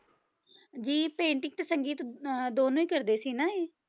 ਜੀ painting ਤੇ ਸੰਗੀਤ ਅਹ ਦੋਨੋਂ ਹੀ ਕਰਦੇ ਸੀ ਨਾ ਇਹ?